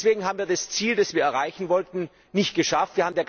Deswegen haben wir das Ziel, das wir erreichen wollten, nicht geschafft.